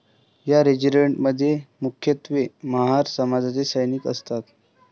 या रेजिमेंट मध्ये मुख्यत्वे महार समाजाचे सैनिक असतात.